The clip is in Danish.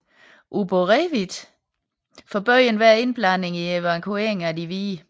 Uborevitj forbød enhver indblanding i evakueringen af de hvide